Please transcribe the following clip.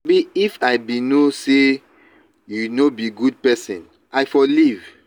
shebi if i bin no say you no be good person i for leave.